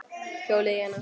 Hjólið í hana.